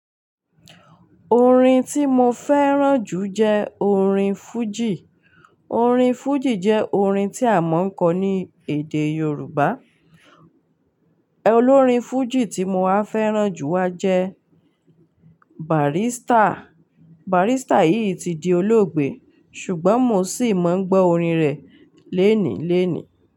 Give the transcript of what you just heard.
Orin tí mo fẹ́ràn jù jẹ́ orin fújì. Orin fújì jẹ́ orin tí a mọ̀ n kọ́ ní èdè Yorùbá. Olórin fújì tí mo wá fẹ́ràn jù wá jẹ́ Barrister. Barrister yìí ti di olóògbé ṣùgbọ́n mo ṣì máa ń gbọ́ orin rẹ̀ léènì léènì.